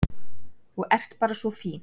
Þú ert bara svo fín.